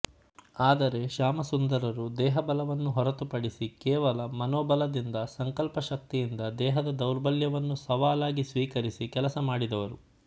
ಆದರೆ ಶ್ಯಾಮಸುಂದರರು ದೇಹಬಲವನ್ನು ಹೊರತುಪಡಿಸಿ ಕೇವಲ ಮನೋಬಲದಿಂದ ಸಂಕಲ್ಪಶಕ್ತಿಯಿಂದ ದೇಹದ ದೌರ್ಬಲ್ಯವನ್ನು ಸವಾಲಾಗಿ ಸ್ವೀಕರಿಸಿ ಕೆಲಸ ಮಾಡಿದವರು